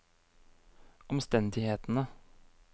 omstendighetene